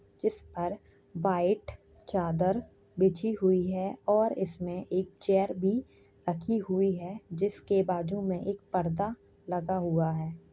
जिस पर वाइट चादर बिछी हुई है और इसमें एक चेयर भी रखी हुई है जिसके बाजू में एक पर्दा लगा हुआ है।